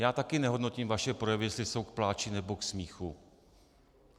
Já také nehodnotím vaše projevy, jestli jsou k pláči nebo k smíchu.